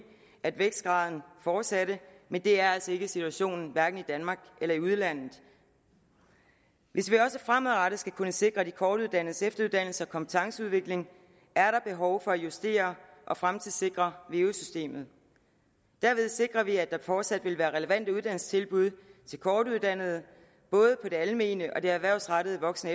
at vækstgraden fortsatte men det er altså ikke situationen hverken i danmark eller i udlandet hvis vi også fremadrettet skal kunne sikre de kortuddannedes efteruddannelse og kompetenceudvikling er der behov for at justere og fremtidssikre veu systemet derved sikrer vi at der fortsat vil være relevante uddannelsestilbud til kortuddannede både på det almene og det erhvervsrettede voksen